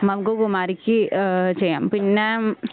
നമുക്ക് കുമാരിക്ക് ഏഹ് ചെയ്യാം പിന്നെ